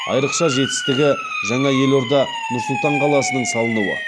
айрықша жетістігі жаңа елорда нұр сұлтан қаласының салынуы